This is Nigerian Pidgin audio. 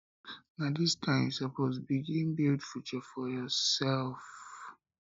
na dis time you suppose begin build beta future for yoursef